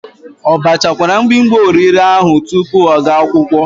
O bachakwara mgbimgbi orire ahu tupu ọ ga akwụkwọ?